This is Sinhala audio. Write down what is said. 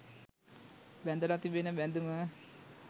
බැඳලා තිබෙන බැඳුම